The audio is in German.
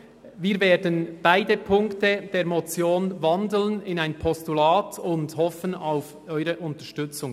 Wir werden beide Punkte der Motion in ein Postulat wandeln und hoffen auf Ihre Unterstützung.